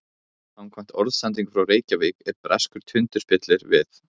Samkvæmt orðsendingu frá Reykjavík er breskur tundurspillir við